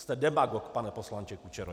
Jste demagog, pane poslanče Kučero.